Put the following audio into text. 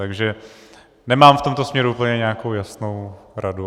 Takže nemám v tomto směru úplně nějakou jasnou radu.